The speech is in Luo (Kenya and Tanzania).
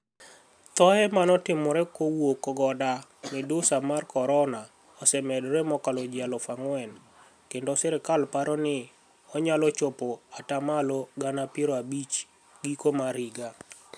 Thoe manotimore kowuok goda miduSaa mar koronia osemedore mokalo ji alufu angwen kenido sirkal paro nii oniyalo chopo ata malo gana piero abich giko mar higa.